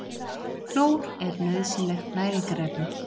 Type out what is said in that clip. Klór er nauðsynlegt næringarefni.